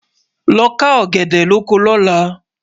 ló ká ògèdè lọkọ lọ̀lá